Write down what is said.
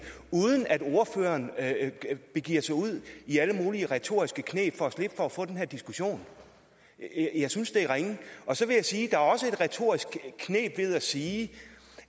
uden at ordføreren begiver sig ud i alle mulige retoriske kneb for at slippe for at få den her diskussion jeg synes det er ringe så vil jeg sige at der også er et retorisk kneb i at sige